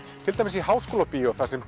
til dæmis í Háskólabíói þar sem